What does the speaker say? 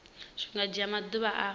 zwi nga dzhia maḓuvha a